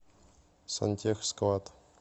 сантехсклад